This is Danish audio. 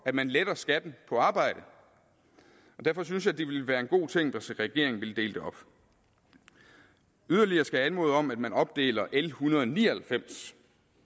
at man letter skatten på arbejde og derfor synes jeg det ville være en god ting hvis regeringen ville dele det op yderligere skal jeg anmode om at man opdeler l en hundrede og ni og halvfems